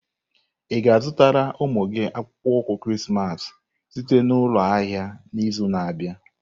Ị ga-azụtara ụmụ gị akpụkpọ ụkwụ Krismas site na ụlọ ahịa n'izu na-abịa?